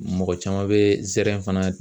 Mɔgɔ caman bɛ zɛrɛn fana